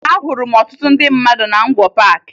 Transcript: Ahụrụ m ọtụtụ ndị mmadụ na Ngwo Paakị